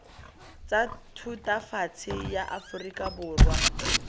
tsa thutafatshe ya aforika borwa